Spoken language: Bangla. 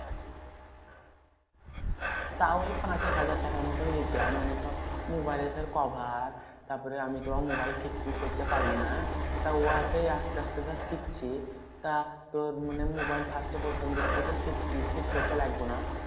তাও এই পাঁচ ছ হাজার টাকার মতন লিতাম। মানে সব মোবাইলের ধর cover তারপরে আমি তো মোবাইল ঠিক ফিক করতে পারি না? তা উহা সেই আসতে আসতে ধর শিখছি। তা তোর মানে মোবাইল first এ প্রথম দিক থেকে ঠিক ইয়ে ঠিক করতে লাগবো না।